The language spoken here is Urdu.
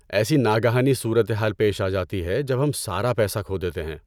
ایسی ناگہانی صورتحال پیش آجاتی ہے جب ہم سارا پیسہ کھو دیتے ہیں۔